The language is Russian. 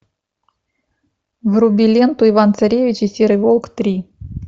вруби ленту иван царевич и серый волк три